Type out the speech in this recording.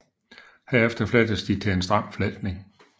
Herefter flettes de til en stram fletning